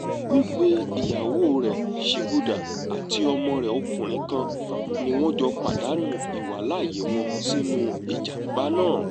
wígbé ìyàwó rẹ̀ chibuda àti ọmọ rẹ̀ ọkùnrin kan ni wọ́n jọ pàdánù ìwàláàyè wọn sínú ìjàm̀bá náà